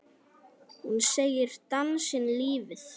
Hún segir dansinn lífið.